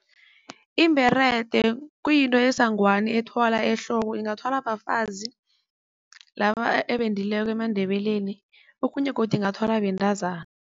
Ibherede kuyinto esangweni ethwala ehloko. Ingathwala bafazi laba ebendileko emaNdebeleni okhunye godu ingathwalwa bentazana.